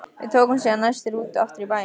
Við tókum síðan næstu rútu aftur í bæinn.